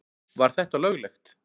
Var þetta löglegt?